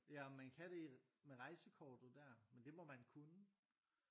Ja om man kan det i med rejsekortet der? Men det må man kunne